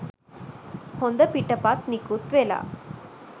හොඳ පිටපත් නිකුත් වෙලා